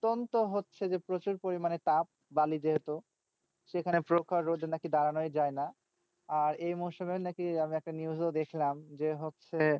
অত্যন্ত হচ্ছে যে প্রচুর পরিমাণে তাপ বালি যেহেতু সেখানে প্রখর রোদে নাকি দাঁড়ানোই যায়না। আর এই মরশুমের নাকি এরম একটা news ও দেখলাম যে হচ্ছে,